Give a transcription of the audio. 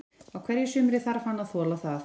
Á hverju sumri þarf hann að þola það.